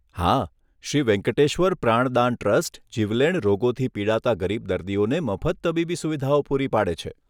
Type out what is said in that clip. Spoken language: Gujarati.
હા, શ્રી વેંકટેશ્વર પ્રાણદાન ટ્રસ્ટ જીવલેણ રોગોથી પીડાતા ગરીબ દર્દીઓને મફત તબીબી સુવિધાઓ પૂરી પાડે છે.